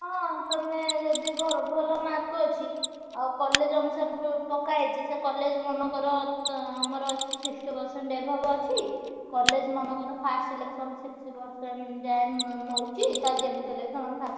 ହଁ ତମେ ଯଦି ଭର ଭଲ mark ଅଛି, ଆଉ college ଅନୁସାରେ ବ ପକାହେଇଛି ସେ college ମନେକର ଅଁ ଆମର sixty percent above ଅଛି, college ମନେକର first selection sixty percent ଉଁ ଯାଏ ନଉଚି। ତାହେଲେ ଯେମିତି ହେଲେବି ତମର first